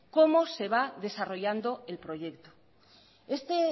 cómo se va desarrollando el proyecto este